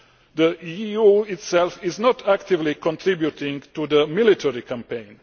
The EU itself is not actively contributing to the military campaign